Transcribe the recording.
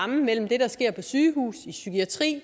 mellem det der sker på sygehusene i psykiatrien